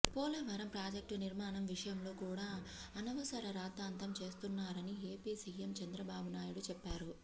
Polavaram project నిర్మాణం విషయంలో కూడ అనవసర రాద్దాంతం చేస్తున్నారని ఏపీ సీఎం చంద్రబాబునాయుడు చెప్పారు